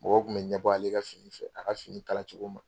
Mɔgɔ tun bɛ ɲɛbɔ ale ka fini fɛ, a ka fini kala cogo ma.